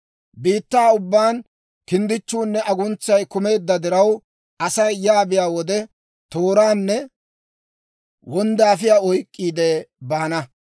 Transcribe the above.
Biittaa ubbaan kinddichchuunne aguntsay kumeedda diraw, Asay yaa biyaa wode, tooranne wonddaafiyaa oyk'k'iide baana.